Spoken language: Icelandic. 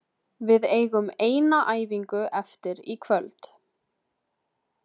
Við eigum eina æfingu eftir í kvöld.